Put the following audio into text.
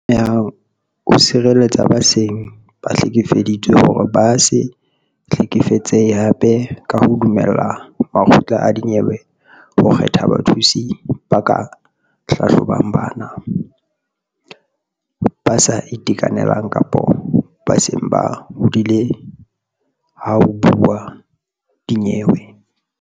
Ame hang o sireletsa ba seng ba hlekefeditswe hore ba se hlekefetsehe hape ka ho dumella makgotla a dinyewe ho kgetha bathusi ba ka hlahlobang bana, ba sa itekanelang kapa ba seng ba hodile ha ho buuwa dinyewe.